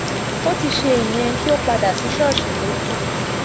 ó ti ṣe ìyẹn kí ó padà sí ṣọọṣì ló kù